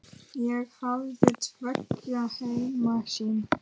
Ég hafði tveggja heima sýn.